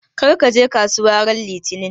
Kar ka je kasuwa ran Litinin!